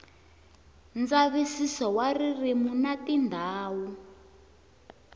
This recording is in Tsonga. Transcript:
ndzavisiso wa ririmi na tindhawu